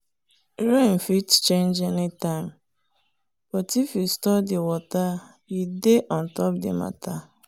rain fit change anytime but if you store the water you dey on top the matter.